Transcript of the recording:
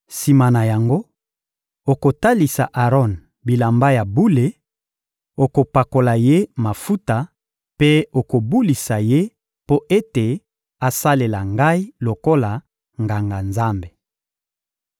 Sima na yango, okolatisa Aron bilamba ya bule, okopakola ye mafuta mpe okobulisa ye mpo ete asalela Ngai lokola Nganga-Nzambe.